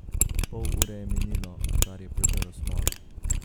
Pol ure je minilo, odkar je požrl smolo.